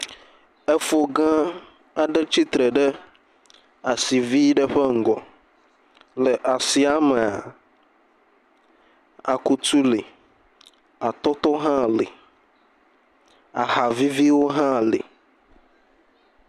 Efo gã aɖe tsitre ɖe asi vi ɖe ƒe ŋgɔ, le asia mea, akutu le, atɔtɔ hã le, ahaviviwo hã le.